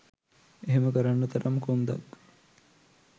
එහෙම කරන්න තරම් කොන්දක්